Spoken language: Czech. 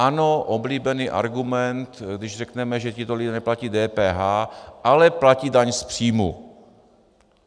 Ano, oblíbený argument, když řekneme, že tito lidé neplatí DPH, ale platí daň z příjmu.